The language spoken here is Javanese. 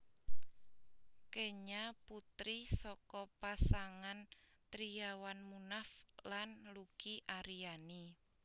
Kenya putri saka pasangan Triawan Munaf lan Luki Ariani